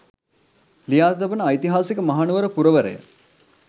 ලියා තබන ඓතිහාසික මහනුවර පුරවරය